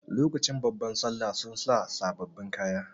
Lokacin babban sallah sun sa sababbin kaya.